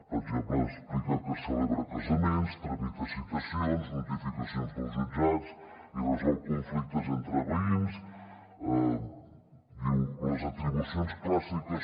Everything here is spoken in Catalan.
per exemple explica que celebra casaments tramita citacions notificacions dels jutjats i resol conflictes entre veïns